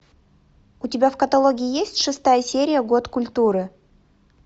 у тебя в каталоге есть шестая серия год культуры